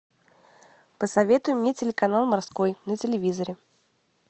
посоветуй мне телеканал морской на телевизоре